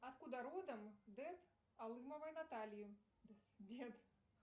откуда родом дед алымовой натальи